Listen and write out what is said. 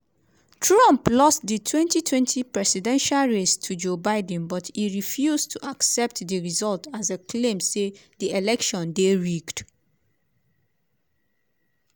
trump lost di 2020 presidential race to joe biden but e refuse to accept di result as e claim say di election dey rigged.